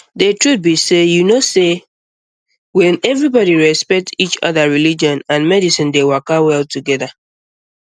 the truth be sey you know say when everybody respect each other religion and medicine dey waka well together